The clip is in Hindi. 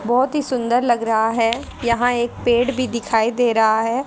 बहोत ही सुंदर लग रहा है यहां एक पेड़ भी दिखाई दे रहा है।